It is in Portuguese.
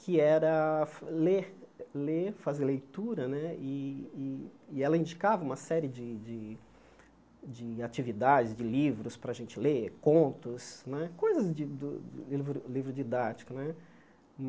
que era fa ler ler, fazer leitura né, e e ela indicava uma série de de de atividades, de livros para a gente ler, contos né, coisas de do li livro didático né.